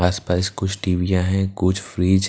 आस पास कुछ टिबिया है कुछ फ्रिज --